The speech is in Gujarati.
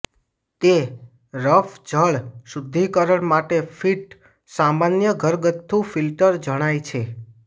તે રફ જળ શુદ્ધિકરણ માટે ફિટ સામાન્ય ઘરગથ્થુ ફિલ્ટર જણાય છે